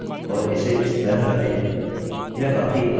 फिर यहाँ जाएँ और इसे इस तरह रखें